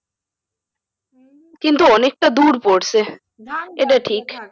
কিন্তু অনেকটা দূর পড়সে